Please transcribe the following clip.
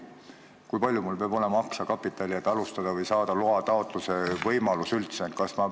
Kui palju mul peab olema aktsiakapitali, et seda alustada või saada üldse võimalus luba taotleda?